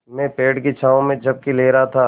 मैं पेड़ की छाँव में झपकी ले रहा था